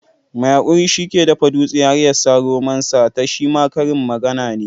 Mai hakuri shi ke dafa dutse har ya sa romon ta shima karin magana ne.